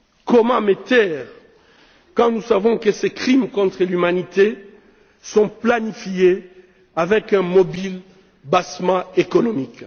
Comment me taire quand nous savons que ces crimes contre l'humanité sont planifiés avec un mobile bassement économique?